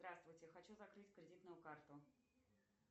здравствуйте хочу закрыть кредитную карту